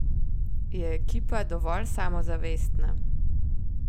Je ekipa dovolj samozavestna?